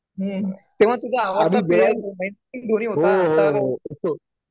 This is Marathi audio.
हं तेव्हा तुझा आवडता प्लेअर महेंद्र सिंग धोनी होता आता